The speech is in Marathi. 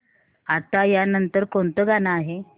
आता या नंतर कोणतं गाणं आहे